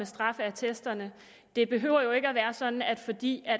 straffeattesterne det behøver jo ikke at være sådan at fordi